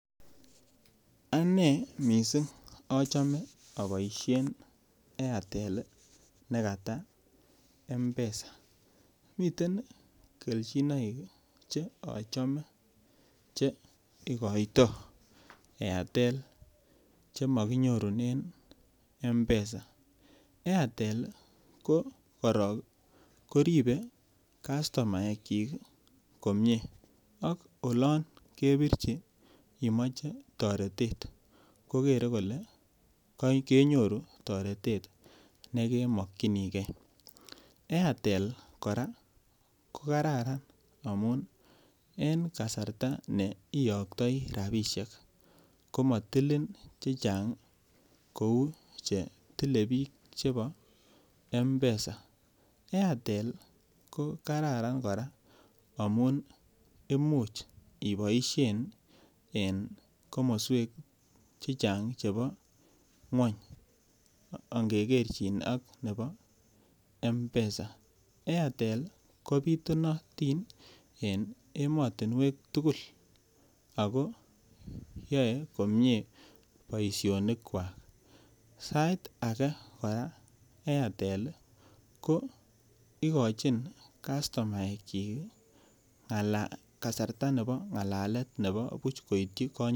Anee missing achome aboisien Airtel ne kata M-pesa miten keljinoik che achome che igoito Airtel chemokinyorunen M-pesa, Airtel ko korok koripe castomaekyik komie ak olon kebirchi imoe toretet kokere kole kenyoru toretet nekemokyinike, Airtel kora kokararan amun en kasarta neiyoktoi rapisiek komotilin chechang kou chetile biik chepo M-pesa, Airtel kokararan kora amun imuch iboisien en komoswek chechang chebo ng'wony angekerchin ak nebo M-pesa, Airtel kobitunotin en emotinwek tugul ako yoe komie boisionikwak sait ake kora Airtel ko ikochin castomaekyik kasarta ne bo ng'alalet nebo buch koityi konyitenik.